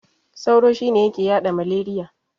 Sauro shine yake yaɗa maleriya.